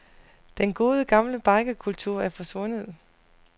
Den gode, gamle bikerkultur er forsvundet.